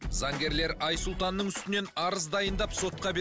заңгерлер айсұлтанның үстінен арыз дайындап сотқа